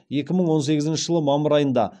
екі мың он сегізінші жылы мамыр айында